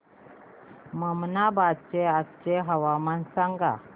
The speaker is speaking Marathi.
ममनाबाद चे आजचे तापमान सांग